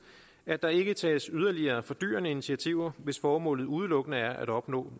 at der ikke tages yderligere fordyrende initiativer hvis formålet udelukkende er at opnå